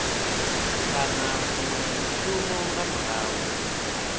kana munwe mushumi nga murahu